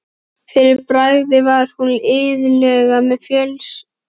Fyrir bragðið var hún iðulega með fjölskrúðugt lið í eftirdragi.